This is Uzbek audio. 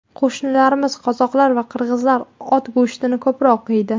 Qo‘shnilarimiz qozoqlar va qirg‘izlar ot go‘shtini ko‘proq yeydi.